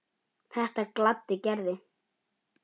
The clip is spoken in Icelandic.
Þetta gladdi Gerði.